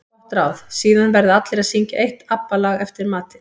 Gott ráð: Síðan verða allir að syngja eitt ABBA lag eftir matinn.